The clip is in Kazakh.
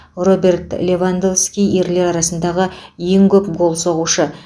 роберт левандовски ерлер арасындағы ең көп гол соғушы